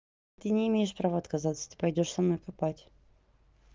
ты не имеешь права отказаться ты пойдёшь со мной копать